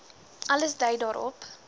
alles dui daarop